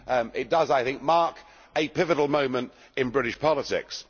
It does, I think, mark a pivotal moment in British politics.